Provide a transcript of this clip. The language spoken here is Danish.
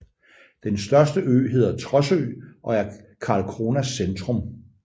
Den største ø hedder Trossö og er Karlskronas centrum